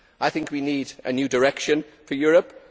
I think we need a new direction for Europe